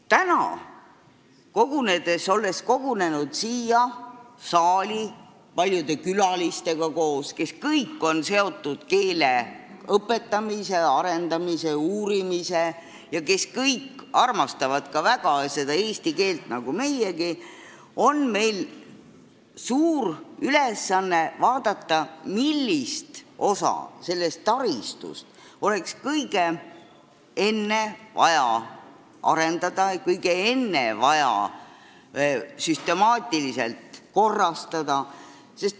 Täna, kui oleme kogunenud siia saali koos paljude külalistega, kes kõik on seotud keele õpetamise, arendamise ja uurimisega ning armastavad nagu meiegi eesti keelt, on meil suur ülesanne vaadata, millist osa sellest taristust oleks vaja kõige enne arendada ja süstemaatiliselt korrastada.